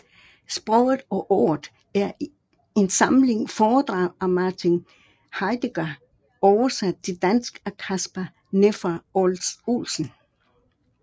Sproget og ordet er en samling foredrag af Martin Heidegger oversat til dansk af Kasper Nefer Olsen